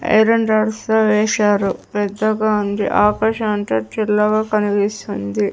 ఎర్రని డ్రస్సు వేసారు పెద్దగా ఉంది ఆకాశమంతా చిల్లగా కనిపిస్తుంది.